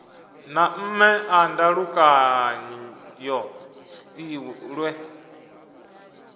na mme a ndalukanyo lwe